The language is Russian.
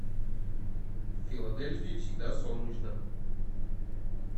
в филадельфии всегда солнечно